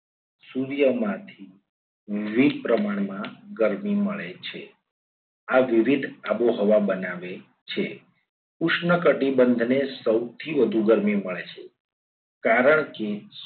સૂર્યમાંથી વિવિધ પ્રમાણમાં ગરમી મળે છે. આ વિવિધ આબોહવા બનાવે છે. ઉષ્ણકટિબંધને સૌથી વધુ ગરમી મળે છે કારણ કે